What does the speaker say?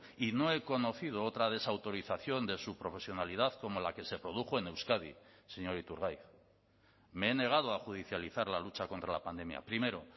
y no he conocido otra desautorización de su profesionalidad como la que se produjo en euskadi señor iturgaiz me he negado a judicializar la lucha contra la pandemia primero